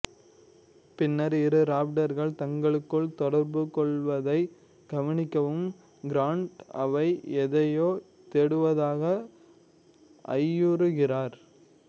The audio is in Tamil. பின்னர் இரு ராப்டர்கள் தங்களுக்குள் தொடர்புகொள்வதைக் கவனிக்கும் கிரான்ட் அவை எதையோ தேடுவதாக ஐயுறுகிறார்